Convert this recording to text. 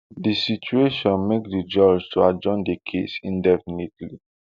di situation make di judge to adjourn di case indefinitely